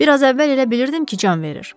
Bir az əvvəl elə bilirdim ki, can verir.